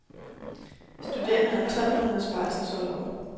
Studerende har tolv måneders barselsorlov.